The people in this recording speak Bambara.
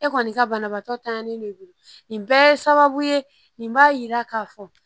E kɔni ka banabaatɔ tanɲani de don nin bɛɛ ye sababu ye nin b'a yira k'a fɔ